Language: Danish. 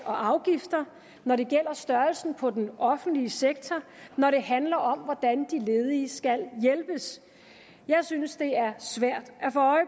og afgifter når det gælder størrelsen på den offentlige sektor når det handler om hvordan de ledige skal hjælpes jeg synes at det er svært